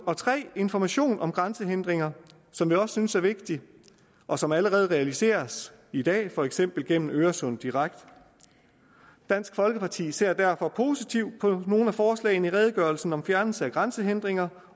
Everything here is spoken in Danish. og 3 information om grænsehindringer som vi også synes er vigtigt og som allerede realiseres i dag for eksempel gennem øresunddirekt dansk folkeparti ser derfor positivt på nogle af forslagene i redegørelsen om fjernelse af grænsehindringer